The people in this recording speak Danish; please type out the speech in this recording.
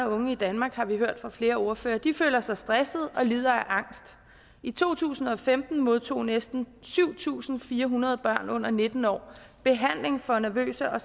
og unge i danmark har vi hørt fra flere ordførere føler sig stressede og lider af angst i to tusind og femten modtog næsten syv tusind fire hundrede børn under nitten år behandling for nervøse og